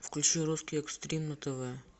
включи русский экстрим на тв